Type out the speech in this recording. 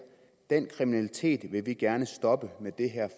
den kriminalitet vil vi gerne stoppe med det her